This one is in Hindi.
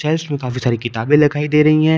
काफी सारी किताबें लखाई दे रही है।